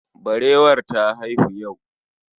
Barewar ta haihu yau